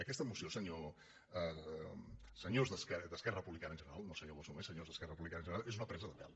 aquesta moció senyors d’esquerra republicana en general no senyor bosch només senyors d’esquerra republicana en general és una presa de pèl